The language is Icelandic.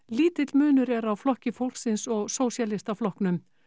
lítill munur er á Flokki fólksins og Sósíalistaflokknum